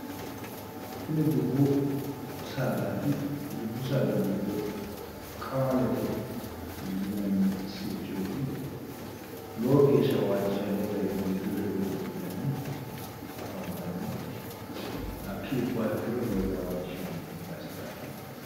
Tini dubbu sadaati. Dubbu saada giddo qamalete yinanni sirchooti. Lowo geeshsha waajjishanno garinni mimmittu ledo godo'litanni afantanno. Hakkii ubbuha ikkiro lowo geeshsha waajjishanno.